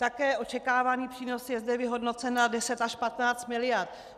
Také očekávaný přínos je zde vyhodnocen na 10 až 15 miliard.